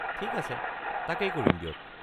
ঠিক আছে, তাকেই কৰিম দিয়ক।